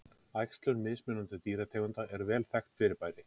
Æxlun mismunandi dýrategunda er vel þekkt fyrirbæri.